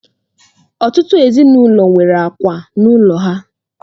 Ọtụtụ ezinụlọ nwere àkwà n'ụlọ ha.